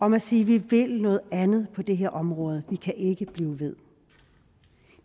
om at sige at vi vil noget andet på det her område vi kan ikke blive ved